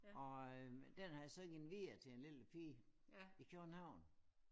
Og øh den har jeg så givet videre til en lille pige i København